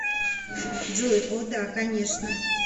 джой о да конечно